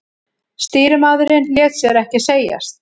Stýrimaðurinn lét sér ekki segjast.